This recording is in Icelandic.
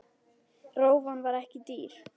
Rófan var ekki dýr.